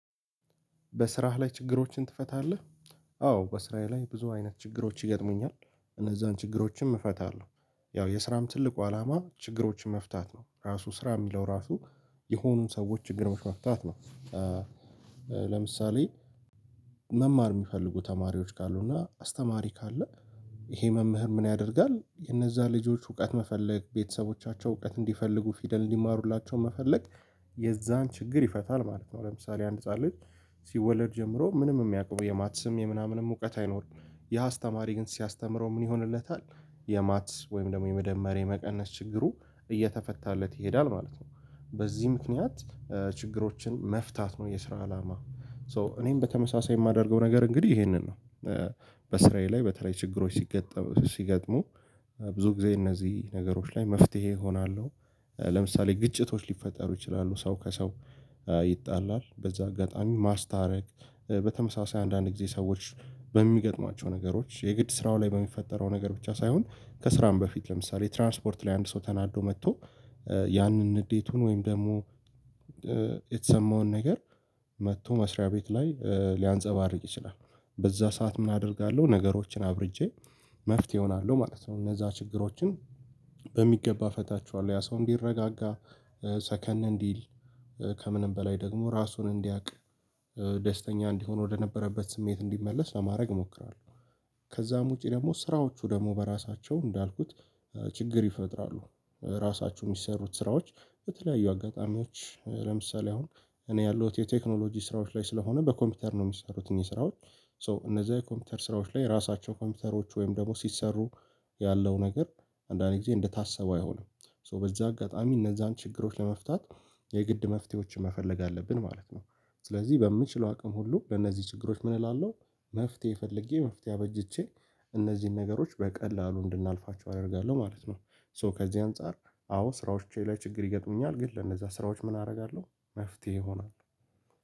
በስራህ ላይ ችግሮችን ትፈታለህ? አዎ በስራዬ ላይ ብዙ አይነት ችግሮች ይገጥሙኛል። እነዛን ችግሮችም እፈታለሁ። ያው የስራም ትልቁ አላማ ችግሮችን መፍታት ነው። ራሱ ስራ የሚለው ራሱ የሆኑን ሰዎች ችግርሮች መፍታት ነው። ለምሳሌ መማር የሚፈልጉ ተማሪዎች ካሉ እና አስተማሪ ካለ ይሄ መምህር ምን ያደርጋል? ለእነዛ ልጆች እውቀት መፈለግ፤ ቤተሰቦቻቸው እውቀት እንዲፈልጉ ፊደል እንዲማሩላቸው መፈለግ የዛን ችግር ይፈታል ማለት ነው። ለምሳሌ አንድ ህፃን ልጅ ሲወለድ ጀምሮ ምንም የሚያቅውቀው የማትስም የምናምንም እውቀት አይኖረውም። ያ አስተማሪ ግን ሲያስተምረው ምን ይሆንለታል የማትስ ወይም ደግሞ የመደመር የመቀነስ ችግሩ እየተፈታለት ይሄዳል ማለት ነው። በዚህ ምክንያት ችግሮችን መፍታት ነው የስራ አላማ። ሶ እኔም በተመሳሳይ የማደርገው ነገር እንግዲህ ይሄንን ነው። በስራዬ ላይ በተለይ ችግሮች ሲገጥም ሲገጥሙ ብዙ ጊዜ እነዚህ ነገሮች ላይ መፍትሄ እሆናለሁ። ለምሳሌ ግጭቶች ሊፈጠሩ ይችላሉ። ሰው ከሰው ይጣላል። በዛ አጋጣሚ ማስታረቅ፤ በተመሳሳይ አንዳንድ ጊዜ ሰዎች በሚገጥማቸው ነገሮች የግድ ስራው ላይ በሚፈጠረው ነገር ብቻ ሳይሆን ከስራም በፊት ለምሳሌ ትራንስፖርት ላይ አንድ ሰው ተናዶ መጥቶ ያንን ንዴቱን ወይም ደግሞ የተሰማውን ነገር መጥቶ መስሪያ ቤት ላይ ሊያንፀባርቅ ይችላል። በዛ ሰዓት ምን አደርጋለሁ ነገሮችን አብርጄ መፍትሄ እሆናለሁ ማለት ነው። እነዛ ችግሮችን በሚገባ እፈታቸዋለሁ። ያ ሰው እንዲረጋጋ ሰከን እንዲል ከምንም በላይ ደግሞ ራሱን እንዲያውቅ ደስተኛ እንዲሆን ወደነበረበት ስሜት እንዲመለስ ለማድረግ እሞክራለሁ። ከዛም ውጪ ደግሞ ስራዎቹ ደግሞ በራሳቸው እንዳልኩት ችግር ይፈጥራሉ። ራሳችሁ የሚሰሩት ስራዎች በተለያዩ አጋጣሚዎች ለምሳሌ አሁን እኔ ያለው የቴክኖሎጂ ስራዎች ላይ ስለሆነ በኮምፒውተር ነው የሚሰሩት እነዚህ ስራዎች፤ ሶ እነዛ የኮምፒውተር ስራዎች ላይ ራሳቸው ኮምፒውተሮች ወይም ደግሞ ሲሰሩ ያለው ነገር አንዳንዴ እንደታሰበው አይሆንም። ሶ በዛ አጋጣሚ እነዛን ችግሮች ለመፍታት የግድ መፍትሄዎችን መፈለግ አለብን ማለት ነው። ስለዚህ በምችለው አቅም ሁሉ ለእነዚህ ችግሮች ምን እላለሁ መፍትሄ ፈልጌ መፍትሄ አበጅቼ እነዚህን ነገሮች በቀላሉ እንድናልፋቸው አደርጋለሁ ማለት ነው። ሶ ከዚህ አንፃር አዎ ስራዎቼ ላይ ችግር ይገጥሙኛል። ግን ለነዛ ስራዎች ምን አደርጋለሁ መፍትሄ እሆናለሁ።